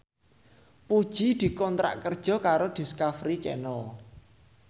Puji dikontrak kerja karo Discovery Channel